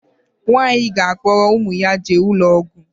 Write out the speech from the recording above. Nwaanyi ga akporo umu ya jee ulo ogwu